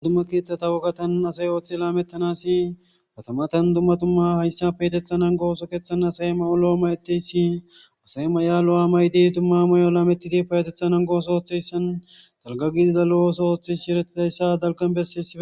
dumma keeththatta wogata nuu asay ooththi laamettanasi katamatan dumma dumma hayssa payateththa nanggo ooso keeththan asay ma'o lo'o mayetiyayssi asay may'a lo'a maydi dumma may'o lametiiti payateththa nanggo osso ooththeyssan dalgga gidida lo'o ooththo ooththizayssi erettidayssa dalggan bessesi